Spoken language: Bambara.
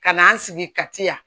Ka n'an sigi ka ti yan